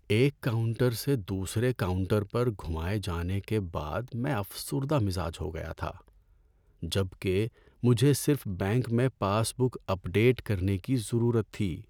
ایک کاؤنٹر سے دوسرے کاؤنٹر پر گھمائے جانے کے بعد میں افسردہ مزاج ہو گیا تھا جبکہ مجھے صرف بینک میں پاس بک اپ ڈیٹ کرنے کی ضرورت تھی۔